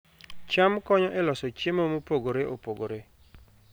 cham konyo e loso chiemo mopogore opogore